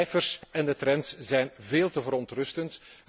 De cijfers en de trends zijn veel te verontrustend.